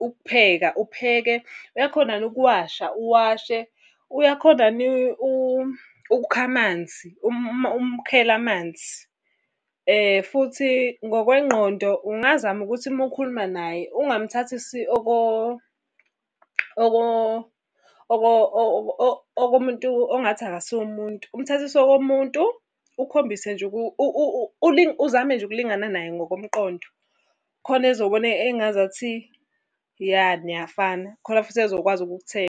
ukupheka, upheke, uyakhona yini ukuwasha, uwashe. Uyakhona yini ukukha amanzi, umkhele amanzi. Futhi ngokwengqondo ungazama ukuthi uma ukhuluma naye ungamthathisi okomuntu ongathi akasiye umuntu. Umthathise okomuntu, ukhombise nje uzame nje ukulingana naye ngokomqondo khona ezobona engazathi ya niyafana khona futhi ezokwazi .